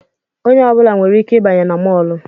Onye ọbụla nwere ike ịbanye na mọlụ